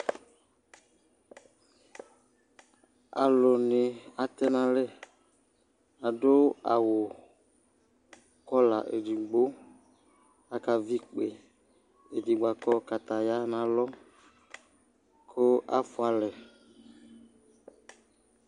alò ni atɛ n'alɛ adu awu kɔla edigbo aka vi ikpe edigbo akɔ kataya n'alɔ kò afua alɛ